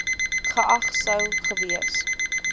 geag sou gewees